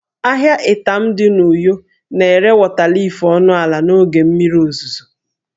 Ahịa Itam dị na uyo na-ere wọta liif ọnụ ala n'oge mmiri ozuzo